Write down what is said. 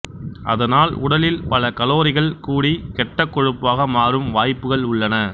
அதனால் உடலில் பல கலோரிகள் கூடிக் கெட்ட கொழுப்பாக மாறும் வாய்ப்புகள் உள்ளன